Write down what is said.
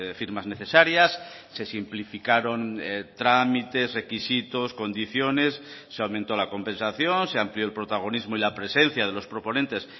firmas necesarias se simplificaron trámites requisitos condiciones se aumentó la compensación se amplió el protagonismo y la presencia de los proponentes